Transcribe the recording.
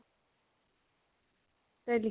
তই